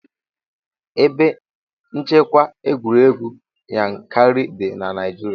Ebe nchekwa egwuregwu Yankarị dị ná Naịjirịa.